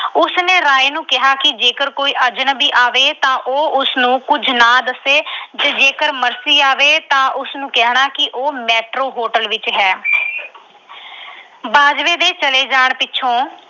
ਉਸਨੇ ਰਾਏ ਨੂੰ ਕਿਹਾ ਕਿ ਜੇਕਰ ਕੋਈ ਅਜਨਬੀ ਆਵੇ ਤਾਂ ਉਹ ਉਸਨੂੰ ਕੁਝ ਨਾ ਦੱਸੇ ਤੇ ਜੇ ਮਰਸੀ ਆਵੇ ਤਾਂ ਉਸਨੂੰ ਕਹਿਣਾ ਕਿ ਉਹ Metro Hotel ਵਿੱਚ ਹੈ।